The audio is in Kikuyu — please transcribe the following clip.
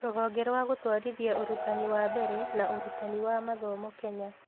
Rũhonge rwa Gũtũarithia Ũrutani wa Mbere na Ũrutani wa Mathomo Kenya